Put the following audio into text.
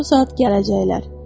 Bu saat gələcəklər.